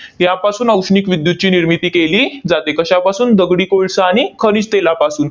यापासून औष्णिक विद्युतची निर्मिती केली जाते. कशापासून? दगडी कोळसा आणि खनिज तेलापासून.